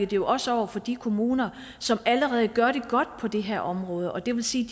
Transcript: jo også over for de kommuner som allerede gør det godt på det her område og det vil sige